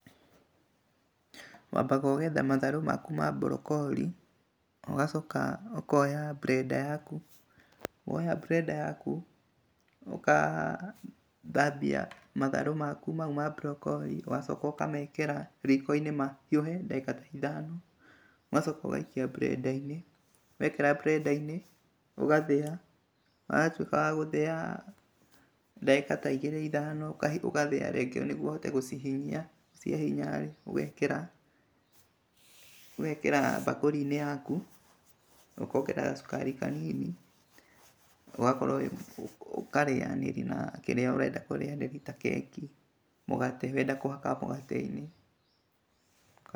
Wambaga ũgetha matharũ maku ma brokori, ũgacoka ũkoya blender yaku. Woya blender yaku ũgathambia matharũ maku mau ma brokori ũgacoka ũkamekĩra riko-inĩ mahiũhe ndagĩka ithano ũgacoka ũgaikia blender-inĩ. Wekĩra blender-inĩ ũgathĩa, watuĩka wagũthĩa dagĩka ta igĩrĩ ithano ũgathĩa rĩngĩ nĩguo ũhote gũcihinyia . ũgekĩra bakũri-inĩ yaku ũkongerera gacukari kanini. ũkarĩa na kĩrĩa ũrenda kũrĩanĩria nakĩo, mũgate wenda kũhaka mũgate.